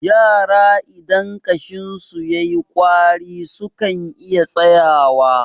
yara idan ƙashinsu ya yi ƙwari sukan iya tsayuwa